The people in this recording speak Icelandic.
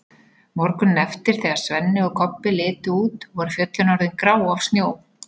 Morguninn eftir þegar Svenni og Kobbi litu út voru fjöllin orðin grá af snjó.